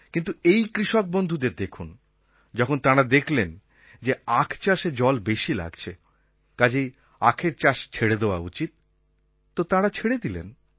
কিন্তু এই কৃষকবন্ধুদের দেখুন যখন তাঁরা দেখলেন যে আখ চাষে জল বেশি লাগছে কাজেই আখের চাষ ছেড়ে দেওয়া উচিত তো তাঁরা ছেড়ে দিলেন